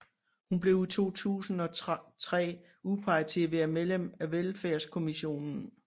Hun blev i 2003 udpeget til at være medlem af Velfærdskommissionen